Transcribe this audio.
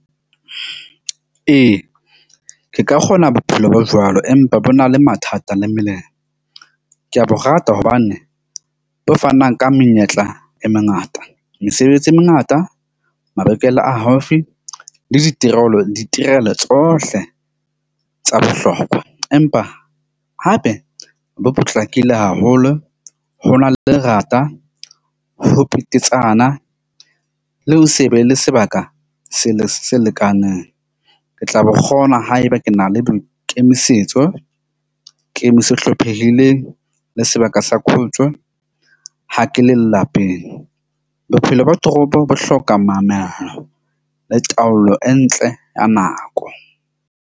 Ee, ke ka kgona bophelo bo jwalo empa bo na le mathata le mmeleng. Ke a bo rata hobane bo fanang ka menyetla e mengata mesebetsi e mengata, mabenkele a haufi le ditirelo tsohle tsa bohlokwa. Empa hape bo potlakile haholo. Ho na le lerata, ho petetsana le ho se be le sebaka se le se lekanang. Ke tla bo kgona haeba ke na le boikemisetso. se hlophehileng le sebaka sa khutso ha ke le lapeng. Bophelo bo toropo bo hloka mamello le taolo e ntle ya nako.